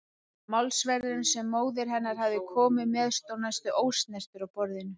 Málsverðurinn sem móðir hennar hafði komið með stóð næstum ósnertur á borðinu.